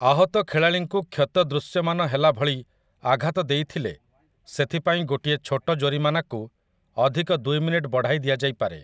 ଆହତ ଖେଳାଳିଙ୍କୁ କ୍ଷତ ଦୃଶ୍ୟମାନ ହେଲା ଭଳି ଆଘାତ ଦେଇଥିଲେ ସେଥିପାଇଁ ଗୋଟିଏ ଛୋଟ ଜୋରିମାନାକୁ ଅଧିକ ଦୁଇ ମିନିଟ ବଢ଼ାଇ ଦିଆଯାଇପାରେ ।